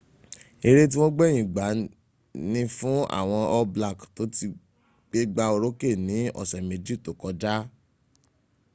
ere ti wọn gbẹyin gba ni fun awọn all black to ti gbegba oroke ni ọsẹ meji to kọja